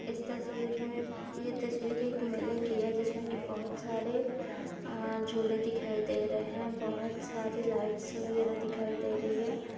इस तस्वीर -- यह तस्वीर एक मेले की है जिसमें की बहुत सारे झूले दिखाई दे रहे हैं बहुत सारी लाइटस वगैरह दिखाई दे रही है।